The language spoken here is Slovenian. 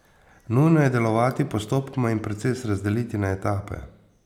Nujno je delovati postopoma in proces razdeliti na etape.